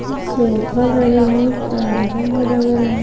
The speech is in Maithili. ई सोफा लगल है परदा भी लगल है।